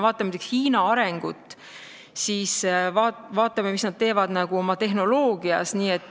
Vaatame näiteks Hiina arengut, seda, mis nad teevad oma tehnoloogias.